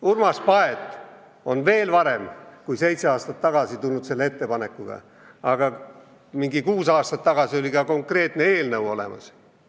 Urmas Paet tuli veel varem kui seitse aastat tagasi selle ettepanekuga välja, aga umbes kuus aastat tagasi oli ka konkreetne eelnõu olemas.